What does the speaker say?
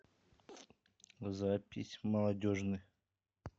запись молодежный